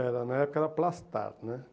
Era, na época era Plastar, né?